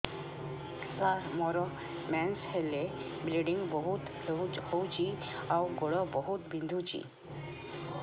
ସାର ମୋର ମେନ୍ସେସ ହେଲେ ବ୍ଲିଡ଼ିଙ୍ଗ ବହୁତ ହଉଚି ଆଉ ଗୋଡ ବହୁତ ବିନ୍ଧୁଚି